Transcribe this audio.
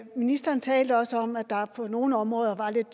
ministeren talte også om at der på nogle områder var lidt